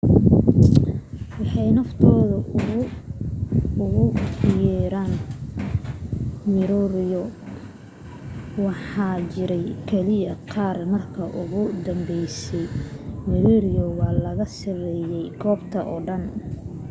waxay naftooda ugu yeeran moriori waxaana jiray keliya qaar marka ugu dambeysayna moriori waa laga saaray goobta oo dhan